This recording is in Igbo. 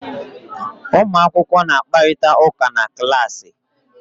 Ụmụ akwụkwọ na-akparịta ụka na klaasị.